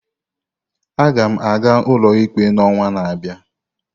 Aga m aga ụlọikpe n'ọnwa na-abịa.